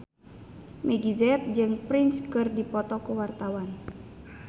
Meggie Z jeung Prince keur dipoto ku wartawan